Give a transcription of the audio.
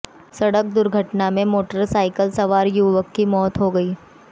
सड़क दुर्घटना में मोटरसाइकिल सवार युवक की मौत हो गई